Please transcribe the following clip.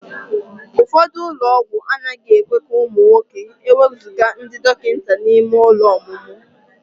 Ụfọdụ ụlọ ọgwụ anaghị ekwe ka ụmụ nwoke ewezuga ndị dọkịta n'ime ụlọ ọmụmụ.